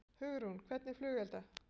Hugrún: Hvernig flugelda?